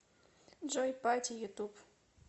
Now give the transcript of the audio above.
джой пати ютуб